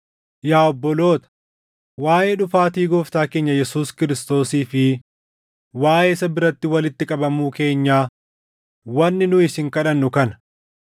Yaa obboloota, waaʼee dhufaatii Gooftaa keenya Yesuus Kiristoosii fi waaʼee isa biratti walitti qabamuu keenyaa wanni nu isin kadhannu kana;